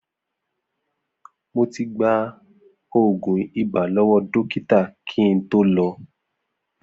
Mo ti gba òògùn ibà lọ́wọ́ dókítà kí n tó lọ